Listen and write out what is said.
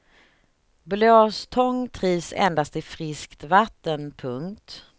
Blåstång trivs endast i friskt vatten. punkt